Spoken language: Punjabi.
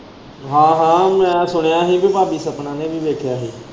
ਹਾਂ ਹਾਂ ਮੈਂ ਸੁਣਿਆ ਹੀ ਤੇ ਸਾਡੀ ਸਪਨਾ ਨੇ ਵੀ ਵੇਖਿਆ ਹੀ।